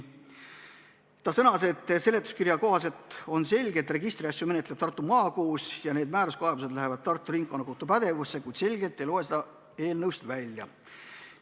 Ta sõnas, et seletuskirja kohaselt on selge, et registriasju menetleb Tartu Maakohus ja need määruskaebused lähevad Tartu Ringkonnakohtu pädevusse, kuid selgelt ei loe seda eelnõust välja.